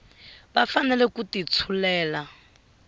va fanele ku ti tshulela